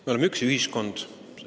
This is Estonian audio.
Me oleme üks ühiskond.